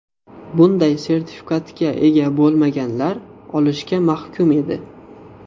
Bunday sertifikatga ega bo‘lmaganlar o‘lishga mahkum edi.